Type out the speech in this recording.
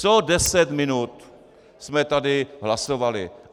Co deset minut jsme tady hlasovali.